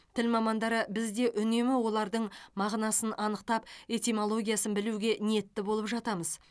тіл мамандары біз де үнемі олардың мағынасын анықтап этимологиясын білуге ниетті болып жатамыз